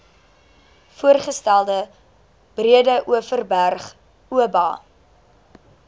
voorgestelde breedeoverberg oba